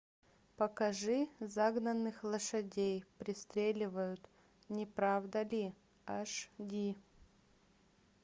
покажи загнанных лошадей пристреливают не правда ли аш ди